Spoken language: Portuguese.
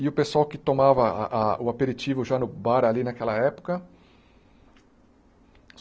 E o pessoal que tomava a a o aperitivo já no bar ali naquela época.